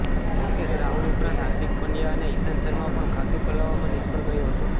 લોકેશ રાહુલ ઉપરાંત હાર્દિક પંડ્યા અને ઈશાંત શર્મા પણ ખાતું ખોલાવવામાં નિષ્ફળ ગયો હતો